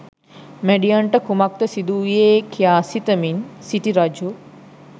මැඩියන්ට කුමක්ද සිදුවූයේ කියා සිතමින් සිටි රජු